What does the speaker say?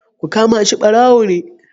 Ku kama shi. barawo ne.